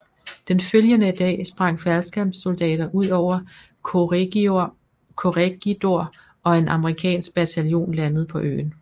Den følgende dag sprang faldskærmssoldater ud over Corregidor og en amerikansk bataljon landede på øen